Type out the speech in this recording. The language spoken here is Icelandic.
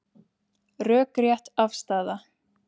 Rökrétt afstaða